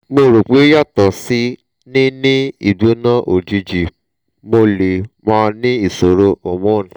mo ro pe yato si ni ni igbona ojiji mo le ma ni isoro hormone